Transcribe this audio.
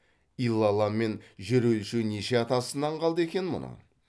илалламен жер өлшеу неше атасынан қалды екен мұның